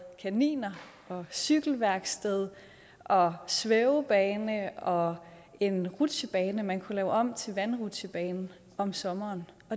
kaniner og cykelværksted og svævebane og en rutsjebane man kunne lave om til vandrutsjebane om sommeren